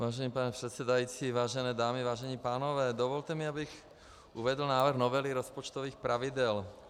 Vážený pane předsedající, vážené dámy, vážení pánové, dovolte mi, abych uvedl návrh novely rozpočtových pravidel.